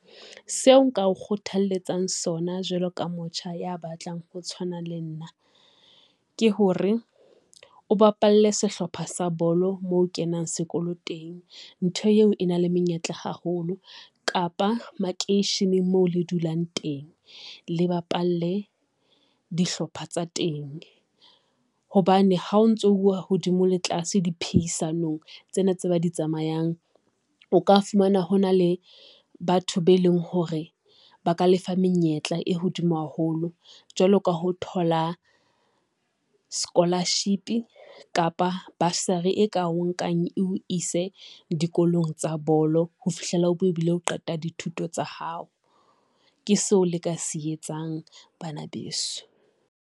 Seo nka o kgothalletsang sona jwalo ka motjha ya batlang ho tshwana le nna, ke hore o bapalle sehlopha sa bolo moo kenang sekolo teng. Ntho eo e na le menyetla haholo kapa makeisheneng mo le dulang teng. Le bapalle dihlopha tsa teng hobane ha o ntsouwa hodimo le tlase di phehisanong tsena tse ba di tsamayang. O ka fumana hona le batho be leng hore ba ka lefa menyetla e hodimo haholo jwalo ka ho thola scholarship kapa basari e ka o nkang eo ise dikolong tsa bolo ho fihlela o be e bile o qeta dithuto tsa hao, ke seo le ka se etsang bana beso.